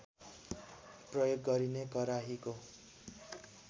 प्रयोग गरिने कराहीको